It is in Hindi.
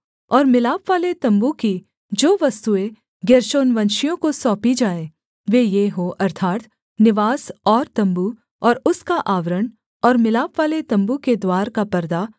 और मिलापवाले तम्बू की जो वस्तुएँ गेर्शोनवंशियों को सौंपी जाएँ वे ये हों अर्थात् निवास और तम्बू और उसका आवरण और मिलापवाले तम्बू के द्वार का परदा